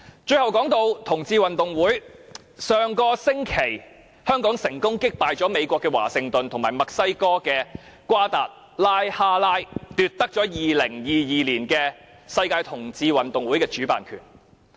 最後談到同志運動會，上星期香港成功擊敗美國華盛頓和墨西哥的瓜達拉哈拉，奪得2022年的世界同志運動會主辦權。